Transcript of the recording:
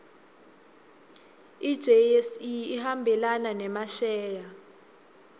ijse ihambelana nemasheya